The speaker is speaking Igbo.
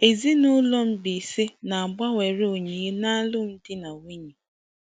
Ezinụlọ Mbaise na-egbanwere onyinye n'alụmdi na nwunye.